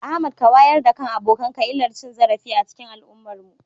Ahmad ka wayar da kan abokanka illar cin zarafi a cikin al'ummarmu.